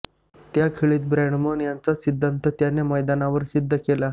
त्या खेळीत ब्रॅडमन यांचाच सिद्धांत त्याने मैदानावर सिद्ध केला